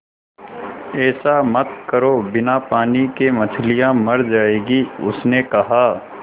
ऐसा मत करो बिना पानी के मछलियाँ मर जाएँगी उसने कहा